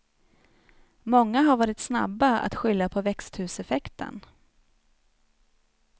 Många har varit snabba att skylla på växthuseffekten.